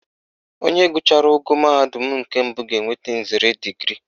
Onye gụchara ogo mahadum nke mbụ ga-enweta nzere digrii